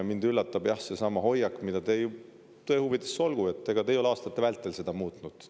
Mind üllatab see hoiak, aga tõe huvides olgu öeldud, et ega te ei ole aastate vältel seda muutnud.